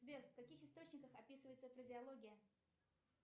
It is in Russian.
сбер в каких источниках описывается фразеология